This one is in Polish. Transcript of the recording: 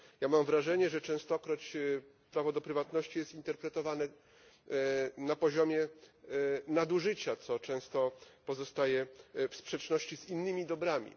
Ja mam wrażenie, że częstokroć prawo do prywatności jest interpretowane na poziomie nadużycia, co często pozostaje w sprzeczności z innymi dobrami.